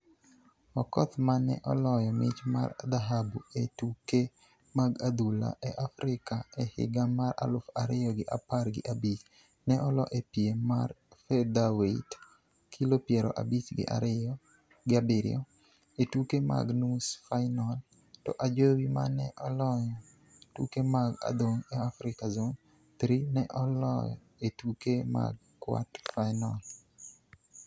Okoth ma ne oloyo mich mar dhahabu e tuke mag adhong' e Afrika e higa mar aluf ariyo gi apar gi abich ne olo e piem mar featherweight (kilo piero abich gi abiriyo) e tuke mag nus fainol, to Ajowi ma ne oloyo tuke mag adhong' e Afrika Zone Three ne olo e tuke mag kwart fainol.